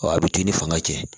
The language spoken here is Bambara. a bɛ k'i ni fanga cɛ